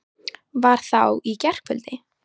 Var það á í gærkvöldi?